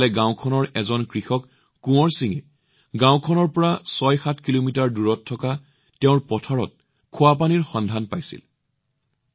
ইফালে গাওঁখনৰ এজন কৃষক কোঁৱৰ সিঙে গাওঁখনৰ পৰা ৬৭ কিলোমিটাৰ দূৰত থকা তেওঁৰ পথাৰত সতেজ পানী পাইছিল